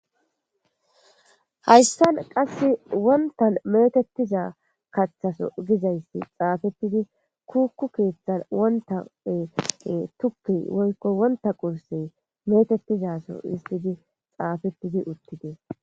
hayssan qass wontan metettiza kaththaso gizayssi xaafettidi kukku keeththan wontae tukki woykko wonta qurse metettizaso istidi xaafettidi uttidees